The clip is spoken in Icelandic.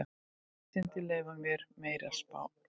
Vísindin leyfi ekki neinar spár.